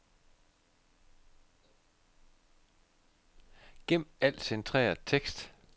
Gem al centreret tekst.